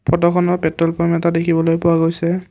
ফটোখনত petrol pump এটা দেখিবলৈ পোৱা গৈছে।